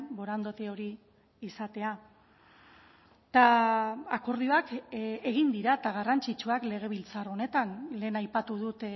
borondate hori izatea eta akordioak egin dira eta garrantzitsuak legebiltzar honetan lehen aipatu dut